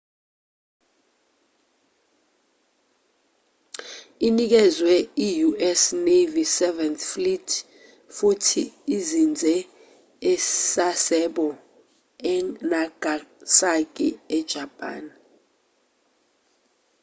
inikezwe i-u.s. navy seventh fleet futhi izinze e-sasebo e-nagasaki e-japan